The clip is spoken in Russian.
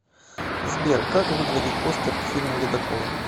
сбер как выглядит постер к фильму ледокол